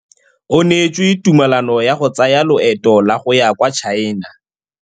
O neetswe tumalanô ya go tsaya loetô la go ya kwa China.